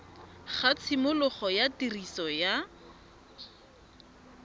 ga tshimologo ya tiriso ya